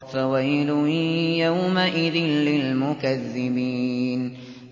فَوَيْلٌ يَوْمَئِذٍ لِّلْمُكَذِّبِينَ